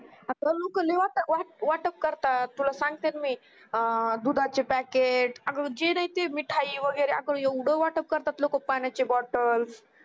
अग लोक लय वात अं वाटप करतात तुला सांगते ब मी अं दुधाची packet अग जी देईल ते मिठाई वैगेरे आग येवढ वाटप करतात पाण्याची bottles